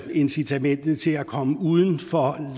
incitamentet til at komme uden for